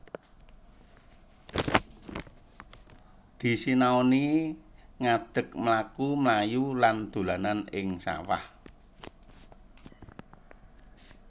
Disinauni ngadek mlaku mlayu lan dolanan ing sawah